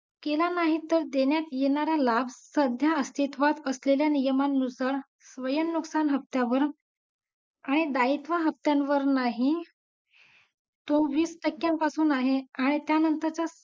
केला नाहीतर देण्यात येणाऱ्या लाभ सध्या अस्तित्वात असलेल्या नियमानुसार स्वयंनुसार हप्त्यांवर आणि दायित्व हप्त्यांवर नाही तो वीस टक्क्या पासून आहे आणि त्यानंतरचा